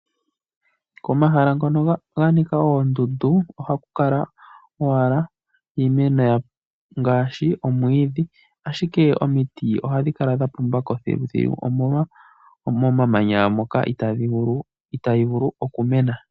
Komahala hono kwanika oondundu ohakukala owala iimeno ngaashi omwiidhi ashike omiti ohadhi kala dhapumbako thiluthilu omolwa momamanya moka itaadhi vulu okumena.